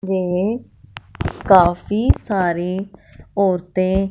ये काफी सारी औरतें--